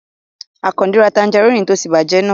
Àkàndé ra tanjarínnì tó ti bàjẹ́ náà